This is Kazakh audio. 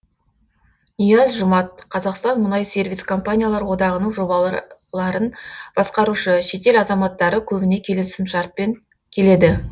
нияз жұмат қазақстан мұнай сервис компаниялар одағының жобаларын басқарушы шетел азаматтары көбіне келісімшартпен келеді